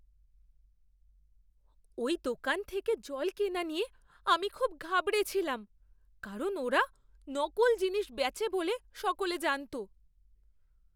ওই দোকান থেকে জল কেনা নিয়ে আমি খুব ঘাবড়েছিলাম কারণ ওরা নকল জিনিস বেচে বলে সকলে জানত!